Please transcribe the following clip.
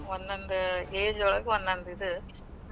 ಒಂದೋಂದು age ಒಳಗ ಒಂದೊಂದ್ ಇದು.